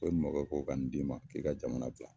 Ko i mɔkɛ ko ko ka nin d'i ma k'i ka jamana bila